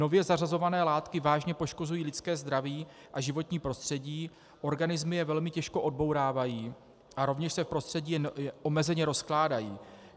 Nově zařazované látky vážně poškozují lidské zdraví a životní prostředí, organismy je velmi těžko odbourávají a rovněž se v prostředí omezeně rozkládají.